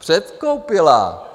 Předkoupila.